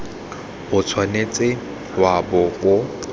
o tshwanetse wa bo o